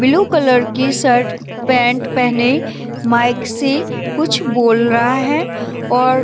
blue colour की shirt pant पहने mic से बोल रहा है और --